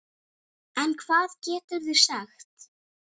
En hvað geturðu sagt?